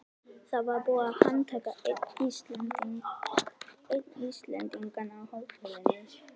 Það var búið að handtaka einn Íslendinganna á hótelinu.